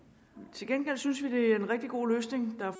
til gengæld synes vi at det er en rigtig god løsning der er